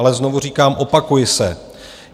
Ale znovu říkám - opakuji se.